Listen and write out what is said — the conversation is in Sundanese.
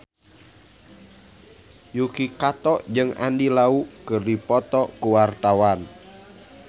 Yuki Kato jeung Andy Lau keur dipoto ku wartawan